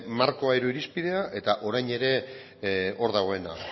markoa edo irizpidea eta orain ere hor dagoena